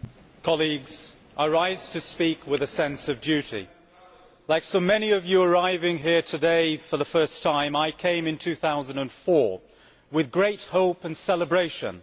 Mr President, I rise to speak with a sense of duty. Like so many of you arriving here today for the first time, I came in 2004 with great hope and celebration